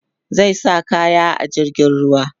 zai sa kayan a jirgin ruwa